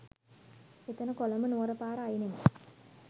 එතන කොළඹ නුවර පාර අයිනෙම